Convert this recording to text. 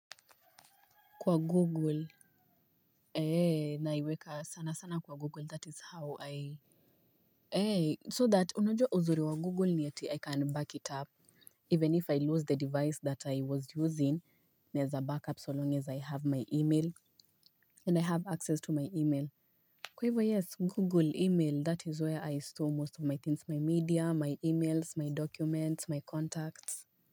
Kwa google ee naiweka sana sana kwa google that is how i ee so that unajua uzuri wa google ni eti i can back it up even if i lose the device that i was using, naeza back up so long as i have my email and i have access to my email. Kwa hivyo yes google email that is where i store most of my things, my media, my emails, my documents, my contacts.